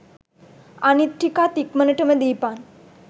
අනිත් ටිකත් ඉක්මනටම දීපන්.